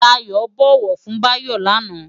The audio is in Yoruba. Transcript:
Dayo bòwò fun Bayo láná